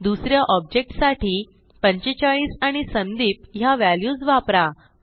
दुस या ऑब्जेक्ट साठी 45 आणि संदीप ह्या व्हॅल्यूज वापरा